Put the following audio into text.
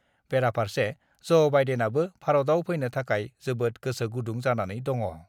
बेराफारसे ज' बाइडेनआबो भारतआव फैनो थाखाय जोबोद गोसो गुदुं जानानै दङ।